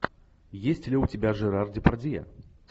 есть ли у тебя жерар депардье